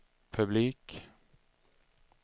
publik